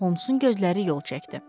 Holmesun gözləri yol çəkdi.